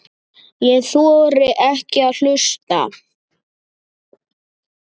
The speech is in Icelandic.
Ég þori ekki að hlusta.